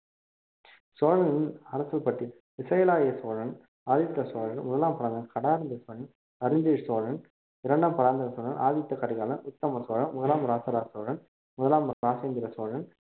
சோழனின் அரசப்பட்டி விசயாலய சோழன் ஆதித்த சோழன் முதலாம் அரிஞ்சய சோழன் இரண்டாம் பராந்தக சோழன் ஆதித்த கரிகாலன் உத்தம சோழன் முதலாம் இராசராச சோழன் முதலாம் ராஜேந்திர சோழன்